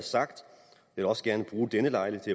sagt og vil også gerne bruge denne lejlighed